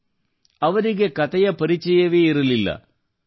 ಅಂದರೆ ಅವರಿಗೆ ಕತೆಯ ಪರಿಚಯವೇ ಇರಲಿಲ್ಲ